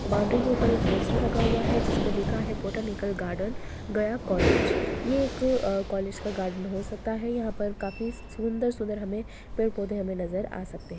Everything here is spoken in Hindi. बाउंड्री की ऊपर एक पोस्टर लगा हुआ है जिसपे लिखा है पोटॉनितल गार्डन दया कॉलेज ये एक कॉलेज का गार्डन हो सकता है यहां पे काफी सुंदर-सुंदर हमे पेड़-पौधे हमे नजर आ सकते है।